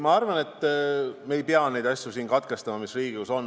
Ma arvan, et me ei pea katkestama asju, mis siin Riigikogus arutusel on.